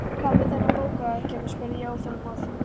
Hvað með þennan bókaútgefanda? spurði ég óþolinmóð.